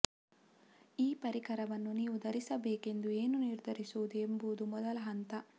ಈ ಪರಿಕರವನ್ನು ನೀವು ಧರಿಸಬೇಕೆಂದು ಏನು ನಿರ್ಧರಿಸುವುದು ಎಂಬುದು ಮೊದಲ ಹಂತ